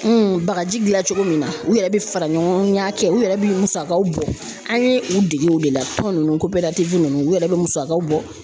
bagaji gilan cogo min na u yɛrɛ bi fara ɲɔgɔn kan kɛ u yɛrɛ bi musakaw bɔ an ye u dege o de la tɔn nunnu ninnu u yɛrɛ bɛ musakaw bɔ.